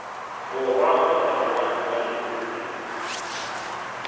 borwa kgotsa moagi wa leruri